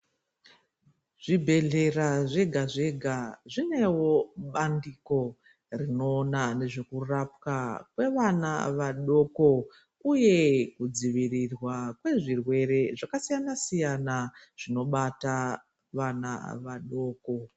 Zvibhedhlera zvega zvega zvinewo bandiko rinoona nezvekurapwa kwewana wadoko uye kudziwirirwa kwezvirwere zvakasiyana siyana zvinobata wana wadoko.